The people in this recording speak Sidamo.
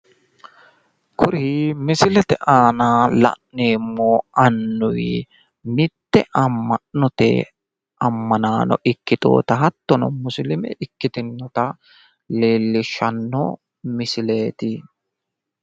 Kuri misilete aana la'neemmori mite musilimete ama'no mannotta ikkitinotta leelishano